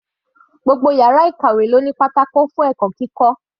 Gbogbo yàrá ìkàwé ló ní pátákó fún ẹ̀kọ́ kíkọ́.